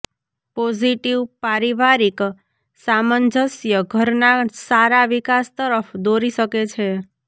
positive પારિવારિક સામંજસ્ય ઘરના સારા વિકાસ તરફ દોરી શકે છે